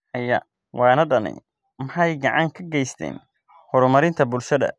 Xayawaanadani waxay gacan ka geystaan ??horumarinta bulshada.